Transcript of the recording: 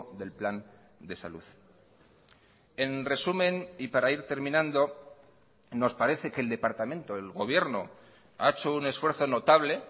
del plan de salud en resumen y para ir terminando nos parece que el departamento el gobierno ha hecho un esfuerzo notable